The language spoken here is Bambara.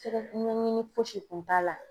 Sɛgɛ ɲɛɲini fosi kun t'a la